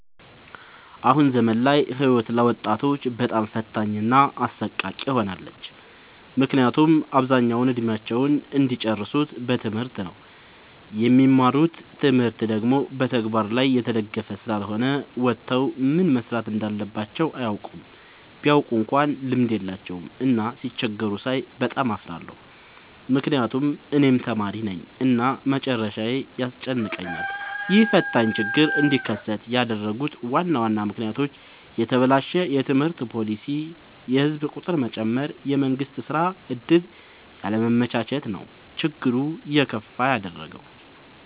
አሁን ዘመን ላይ ህይወት ለወጣቶች በጣም ፈታኝ እና አሰቃቂ ሆናለች። ምክንያቱም አብዛኛውን እድሜአቸውን እሚጨርሱት በትምህርት ነው። የሚማሩት ትምህርት ደግሞ በተግበር ላይ የተደገፈ ስላልሆነ ወተው ምን መስራት እንዳለባቸው አያውቁም። ቢያውቁ እንኳን ልምድ የላቸውም። እና ሲቸገሩ ሳይ በጣም እፈራለሁ ምክንያቱም እኔም ተማሪነኝ እና መጨረሻዬ ያስጨንቀኛል። ይህ ፈታኝ ችግር እንዲከሰት ያደረጉት ዋና ዋና ምክንያቶች፦ የተበላሸ የትምህርት ፓሊሲ፣ የህዝብ ቁጥር መጨመር፣ የመንግስት የስራ ዕድል ያለማመቻቸት ነው። ችግሩን የከፋ ያደረገው።